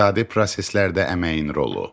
İqtisadi proseslərdə əməyin rolu.